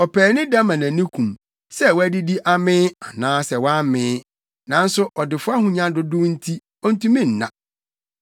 Ɔpaani da ma nʼani kum, sɛ wadidi amee, anaasɛ wammee, nanso ɔdefo ahonya dodow nti ontumi nna.